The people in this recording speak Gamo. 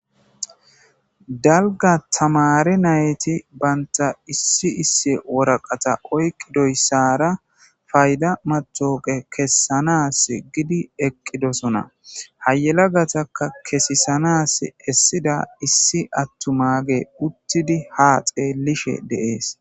dalga tamare nayti banta issi isse woraqata oyqidoyssara fayda matoqe kessanas gidi eqqidosona hayelagataka kesisanas essida issi attumage uttidi ha xeelishe deees